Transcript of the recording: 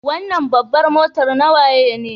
Wanan babbar mota na waye ne?